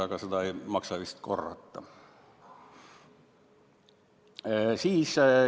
Aga seda ei maksa vist korrata.